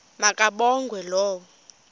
ma kabongwe low